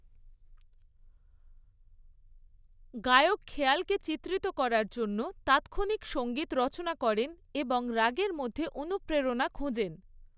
গায়ক খেয়ালকে চিত্রিত করার জন্য তাৎক্ষণিক সঙ্গীত রচনা করেন এবং রাগের মধ্যে অনুপ্রেরণা খোঁজেন।